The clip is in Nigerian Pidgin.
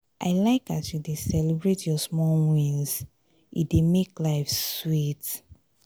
i like as you dey celebrate your small wins e dey make life sweet.